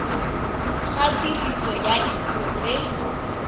ga tiriso ya dipuo tse